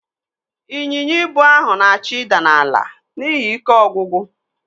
Ịnyinya ibu ahụ na-achọ ịda n'ala n'ihi ike ọgwụgwụ.